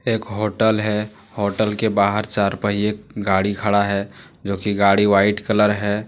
एक होटल है। होटल के बाहर चार पहिये गाड़ी खड़ा है जोकि गाड़ी वाइट कलर है।